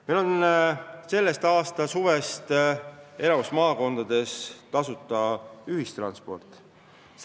Meil on selle aasta suvest enamikus maakondades tasuta ühistransport.